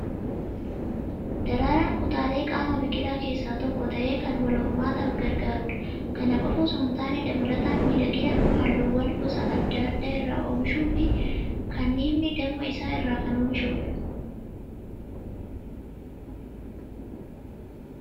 Daraaraan kutaalee qaama biqilaa keessaa tokko ta'ee kan wal hormaataaf gargaarudha. Kana qofaa osoo hin taane dabalataan miidhagina, halluuwwan gosa adda addaa irraa oomishuu fi kanniifni damma isaa kan irraa oomishudha.